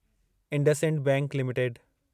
IndusInd bank limited